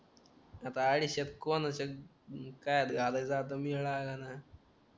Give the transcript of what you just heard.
आता अडीशेत कोणाचा काय राहिलेला आता मिळालं नाय